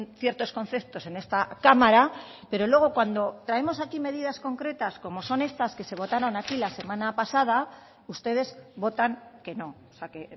ciertos conceptos en esta cámara pero luego cuando traemos aquí medidas concretas como son estas que se votaron aquí la semana pasada ustedes votan que no o sea que